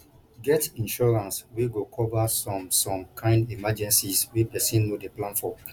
get insurance wey go cover some some kind emergencies wey person no dey plan for